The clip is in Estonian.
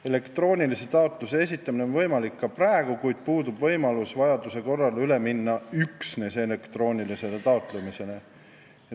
Elektroonilise taotluse esitamine on võimalik ka praegu, kuid puudub võimalus vajaduse korral üle minna üksnes elektroonilisele taotlemisele.